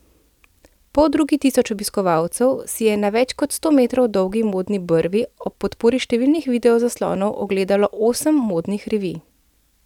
Poldrugi tisoč obiskovalcev si je na več kot sto metrov dolgi modni brvi ob podpori številnih video zaslonov ogledalo osem modnih revij.